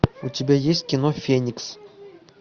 у тебя есть кино феникс